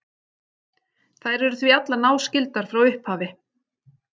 Þær eru því allar náskyldar frá upphafi.